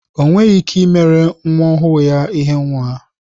Onweghi ike imere nwa ọhụụ ya ihe nwa